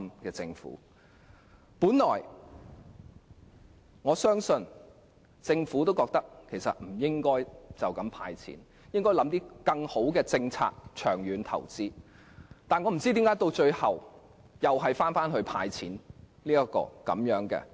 我本來相信，政府亦認為不應"派錢"，而是應該構思更好的政策作長遠投資，但不知何故最後又是"派錢"。